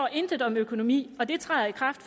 intet om økonomi og det træder i kraft